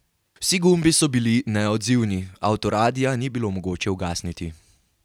Vsi gumbi so bili neodzivni, avtoradia ni bilo mogoče ugasniti.